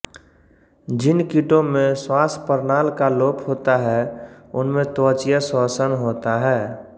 जिन कीटों में श्वासप्रणाल का लोप होता है उनमें त्वचीय श्वसन होता है